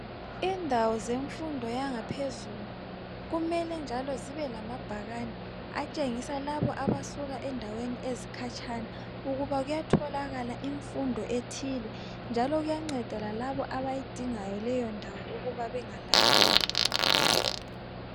Indawo zemfundo yangaphezulu kumele njalo zibe lamabhakani atshengisa labo abasuka endaweni ezikhatshana ukuba kuyatholakala imfundo ethile njalo kuyanceda lalabo abayidingayo leyo ndawo ukuba bengalahleki